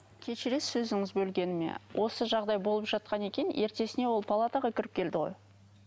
кешірерсіз сөзіңізді бөлгеніме осы жағдай болып жатқан екен ертесіне ол палатаға кіріп келді ғой